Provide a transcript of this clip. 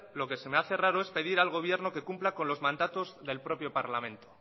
lo que se me hace raro es pedir al gobierno que cumpla con los mandatos del propio parlamento